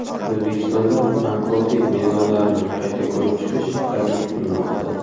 O‘zbekistonda bankrotlik mezonlarini qayta ko‘rib chiqish taklif qilinmoqda.